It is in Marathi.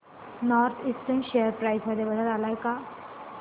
नॉर्थ ईस्टर्न शेअर प्राइस मध्ये बदल आलाय का